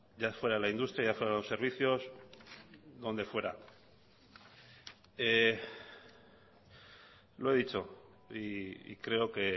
ya fuera la industria o ya fuera los servicios lo he dicho y creo